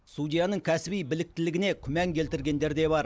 судьяның кәсіби біліктілігіне күмән келтіргендер де бар